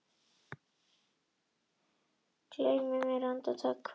Gleymi mér andartak, hverf.